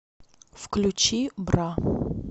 включи бра